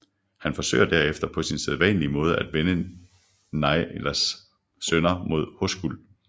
Han forsøger derefter på sin sædvanlige måde at vende Njáls sønner mod Hoskuld